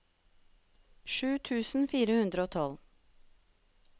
sju tusen fire hundre og tolv